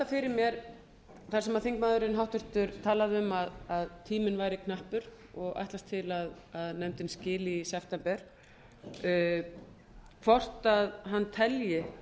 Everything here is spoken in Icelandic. fyrir mér þar sem þingmaðurinn háttvirti talaði um að tíminn væri knappur og ætlast til að nefndin skili í september hvort hann telji